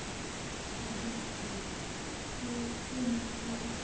sa witblits se neng se